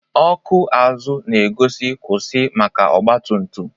ọkụ azụ na-egosi nkwụsị maka ọgba tum tum.